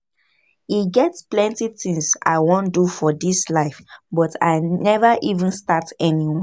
E get plenty things I wan do for dis life but I never even start anyone